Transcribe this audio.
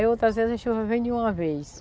Aí outras vezes a chuva vem de uma vez.